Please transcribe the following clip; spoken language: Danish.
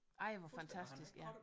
Ej hvor fantastisk ja